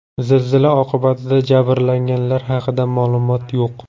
Zilzila oqibatida jabrlanganlar haqida ma’lumot yo‘q.